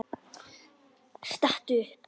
Stattu upp!